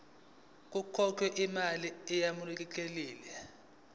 kukhokhelwe imali eyamukelekile